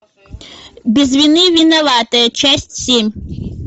без вины виноватые часть семь